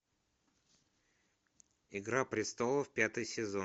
игра престолов пятый сезон